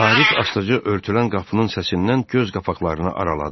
Arif astaca örtülən qapının səsindən göz qapaqlarını araladı.